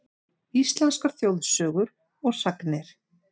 Íslenskar þjóðsögur og sagnir.